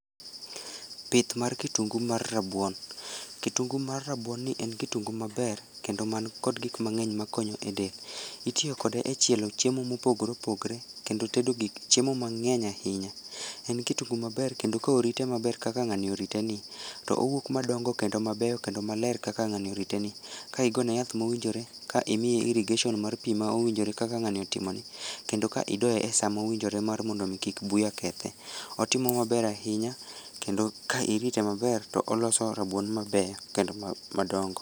Pith mar kitungu mar rabuon, kitungu mar rabuonni en kitungu maber ,kendo man kod gikmang'eny makonyo e del, itiyo kode e chielo chiemo mopogore opogore, kendo tedo gik chiemo mang'eny ahinya, en kitungu maber kendo ka orite maber kaka ng'ani oriteni , owuok madongo kendo mabeyo kendo maler kaka ng'ani oriteni, ka igone yath ma owinjore, ka imiye irrigation mar pii ma owinjore kaka ng'ani otimoni, kendo ka idoye e saa ma owinjore mar mondo omii kik buya kethe, otimo maber ahinya kendo ka irite maber to oloso rabuon mabeyo kendo ma madongo.